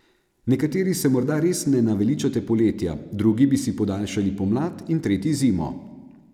Nekateri se morda res ne naveličate poletja, drugi bi si podaljšali pomlad in tretji zimo.